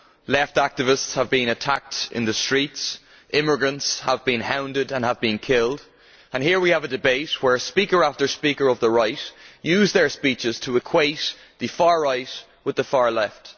Left activists have been attacked in the streets. Immigrants have been hounded and have been killed and here we have a debate where speaker after speaker of the right uses their speeches to equate the far right with the far left.